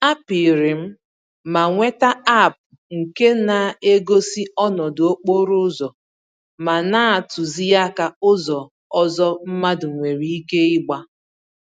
A pịrịm ma nweta App nke na-egosi ọnọdụ okporo ụzọ ma na-atụzi àkà ụzọ ọzọ mmadụ nwèrè ike ịgba.